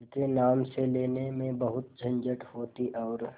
उनके नाम से लेने में बहुत झंझट होती और